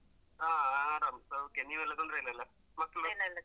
ಹಾ ಹಾ ಆರಾಮ್ ಸೌಖ್ಯ ನೀವೆಲ್ಲ ತೊಂದ್ರೆ ಇಲ್ಲಲ್ಲ ಮಕ್ಳು.